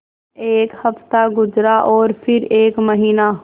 एक हफ़्ता गुज़रा और फिर एक महीना